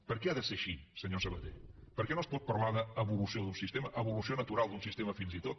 per què ha de ser així senyor sabaté per què no es pot parlar d’evolució d’un sistema d’evolució natural d’un sistema fins i tot